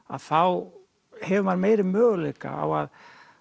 að þá hefur maður meiri möguleika á að